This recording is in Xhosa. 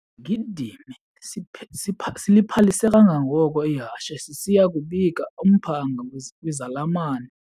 Isigidimi siliphalise kangangoko ihashe sisiya kubika umphanga kwizalamane.